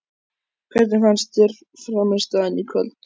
Hvernig fannst þér frammistaðan í kvöld?